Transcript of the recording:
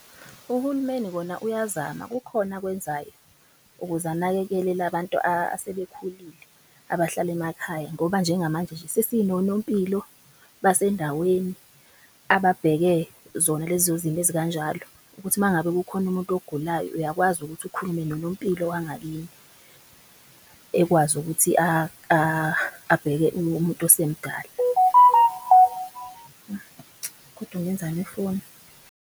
Uhulumeni kona uyazama kukhona akwenzayo ukuze anakekele abantu asebekhulile abahlala emakhaya. Ngoba njengamanje nje sesinonompilo basendaweni ababheke zona lezo zimo ezikanjalo. Ukuthi uma ngabe kukhona umuntu ogulayo uyakwazi ukuthi ukhulume nonompilo wangakini ekwazi ukuthi abheke umuntu osemdala .